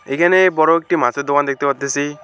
এখানে বড় একটি মাছের দোকান দেখতে পারতেছি।